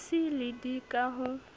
c le d ka ho